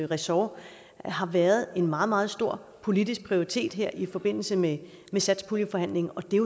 ressort har været en meget meget stor politisk prioritet her i forbindelse med satspuljeforhandlingerne det er